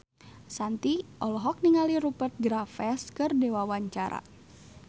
Shanti olohok ningali Rupert Graves keur diwawancara